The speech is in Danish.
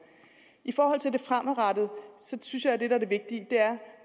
i forhold til det fremadrettede synes jeg at det der er det vigtige er